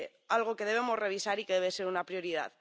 algo que debemos revisar y que debe ser una prioridad.